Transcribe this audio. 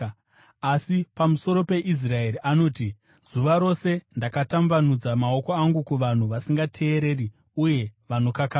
Asi pamusoro peIsraeri anoti, “Zuva rose ndakatambanudza maoko angu kuvanhu vasingateereri, uye vanokakavara.”